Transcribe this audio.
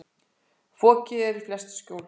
Fokið er í flest skjól.